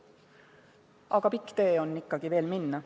Aga pikk tee on veel minna.